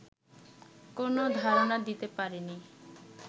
কোন ধারণা দিতে পারে নি